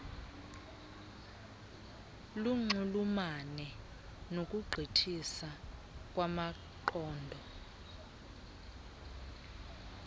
bunxulumane nokugqithisa kwamaqondo